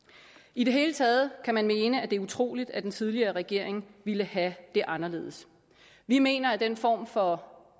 i det hele taget kan man mene at det er utroligt at den tidligere regering ville have det anderledes vi mener at den form for